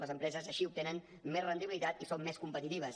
les empreses així obtenen més rendibilitat i són més competitives